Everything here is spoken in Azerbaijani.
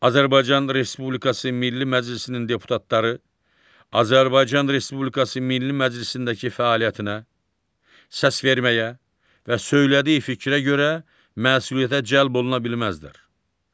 Azərbaycan Respublikası Milli Məclisinin deputatları Azərbaycan Respublikası Milli Məclisindəki fəaliyyətinə, səsverməyə və söylədiyi fikrə görə məsuliyyətə cəlb oluna bilməzdilər.